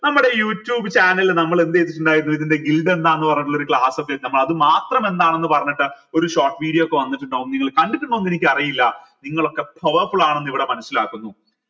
നമ്മുടെ youtube channel നമ്മൾ എന്ത് ചെയ്തിട്ടുണ്ടായിരുന്നു ഇതിന്റെ എന്താന്ന് പറഞ്ഞിട്ടുള്ള ഒരു class ഒക്കെ അത് മാത്രം എന്താണെന്ന് പറഞ്ഞിട്ട് ഒരു short video ഒക്കെ കണ്ടിട്ടിണ്ടോ എന്ന് എനിക്കറീല നിങ്ങളൊക്കെ powerful ആണെന്ന് ഇവിടെ മനസിലാകുന്നു